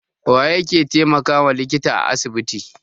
Waye yake taimakawa likita a asibiti?